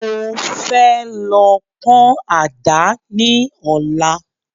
Mo fẹ́ lọ pọ́n àdá ni Ọ̀la